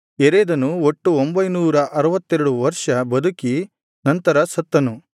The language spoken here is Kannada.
ಯೆರೆದನು ಒಟ್ಟು ಒಂಭೈನೂರ ಅರುವತ್ತೆರಡು ವರ್ಷ ಬದುಕಿ ನಂತರ ಸತ್ತನು